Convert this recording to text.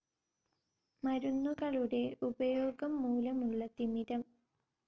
മരുന്നുകളുടെ ഉപയോഗം മൂലമുള്ള തിമിരം.